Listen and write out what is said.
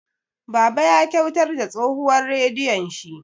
Baba ya kyautar da tsohuwar radiyon shi.